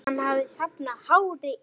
Hann hafði safnað hári í